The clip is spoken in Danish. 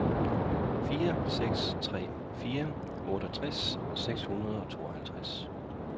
fire seks tre fire otteogtres seks hundrede og tooghalvtreds